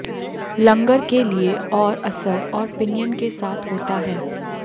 लंगर के लिए और असर और पिनियन के साथ होता है